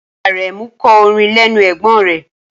Aremu kọ́ orin lẹ́nu ẹ̀gbón rẹ.